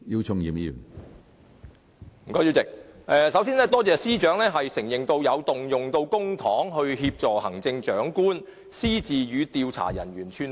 主席，首先多謝司長承認，政府有動用公帑協助行政長官私自與調查人員串通。